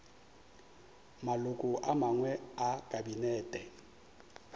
maloko a mangwe a kabinete